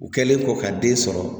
U kɛlen kɔ ka den sɔrɔ